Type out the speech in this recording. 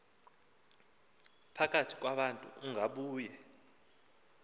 phakathi kwabantu ungabuye